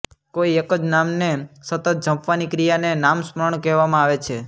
કોઇ એક જ નામને સતત જપવાની ક્રિયાને નામસ્મરણ કહેવામાં આવે છે